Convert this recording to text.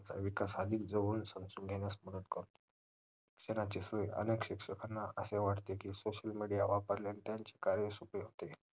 विकासा अधिक जवळ घेण्यास मदत करतो तर ह्याचे सोय अनेक शिक्षकांना असे वाटते की social media वापरल्याणे त्यांचे काहीच उपयोग होत नाही